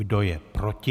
Kdo je proti?